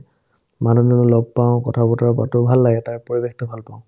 মানুহ-দুনুহ লগ পাও কথা-বতৰা পাতো ভাল লাগে তাৰ পৰিবেশটো ভাল পাওঁ